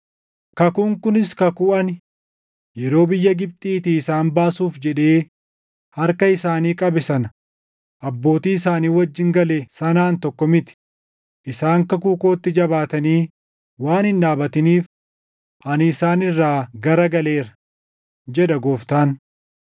Kakuun kunis kakuu ani, yeroo biyya Gibxiitii isaan baasuuf jedhee harka isaanii qabe sana abbootii isaanii wajjin gale sanaan tokko miti; isaan kakuu kootti jabaatanii waan hin dhaabatiniif, ani isaan irraa gara galeera, jedha Gooftaan.